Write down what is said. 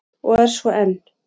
Og er svo enn!